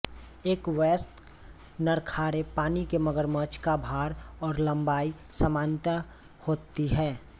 एक वयस्क नर खारे पानी के मगरमच्छ का भार और लम्बाई सामान्यतया होती है